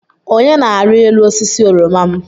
Onye na-arị elu osisi oroma m.